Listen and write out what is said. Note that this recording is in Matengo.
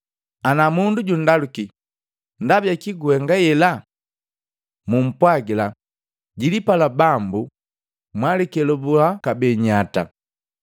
Ana mundu jundaluki, ‘Ndaba jakii huhenga hela?’ Mumpwagila, ‘Jilipala Bambu jwalikelebuha kabee nyata.’ ”